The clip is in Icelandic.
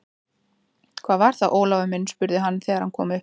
Hvað var það, Ólafur minn? spurði hann þegar hann kom upp.